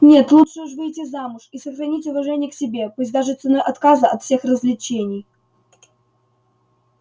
нет лучше уж выйти замуж и сохранить уважение к себе пусть даже ценой отказа от всех развлечений